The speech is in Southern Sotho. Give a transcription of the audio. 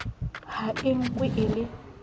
ha e nkwe e le